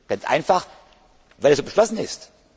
Ganz einfach, weil es so beschlossen ist.